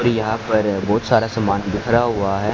और यहां पर बहुत सारा सामान बिखरा हुआ है।